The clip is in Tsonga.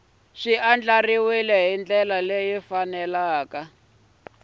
andlariwile hi ndlela ya nkhaqato